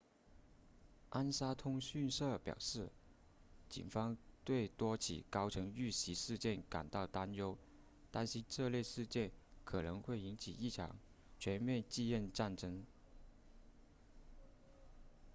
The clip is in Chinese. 安莎通讯社表示警方对多起高层遇袭事件感到担忧担心这类事件可能会引发一场全面继任战争